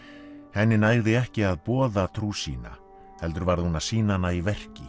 henni nægði ekki að boða trú sína heldur varð hún að sýna hana í verki